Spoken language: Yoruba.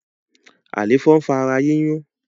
Àléfọ ń fa ara yiyun